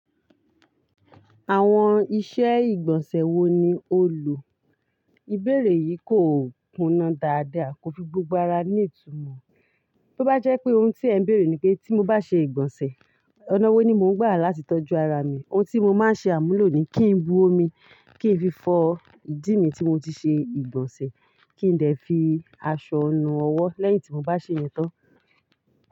Àwọn iṣẹ́ ìgbọ̀nsẹ̀ wo ni o lò? Ìbéèrè yìí kò kúnnà dáadáa kò fi gbogbo ara ní ìtumọ̀. Tó bá jẹ́ pé ohun tí ẹ̀ ń bèèrè ni pé tí mo bá ṣe ìgbọ̀nsẹ̀, ọ̀nà wo ni mo ń gbà láti tọ́jú ara mi. Ohun tí mo máa ń ṣe àmúlò ni kí n bu omi, kí n fi fọ ìdí mi tí mo ti ṣe ìgbọ̀nsẹ̀, kí n dẹ̀ fi aṣọ nu ọwọ́ lẹ́yìn tí mo bá ṣèyẹn tán.